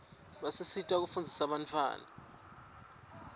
basisita kufundzisa bantawana